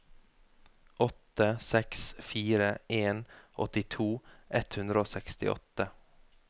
åtte seks fire en åttito ett hundre og sekstiåtte